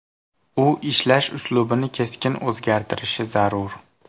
U ishlash uslubini keskin o‘zgartirishi zarur.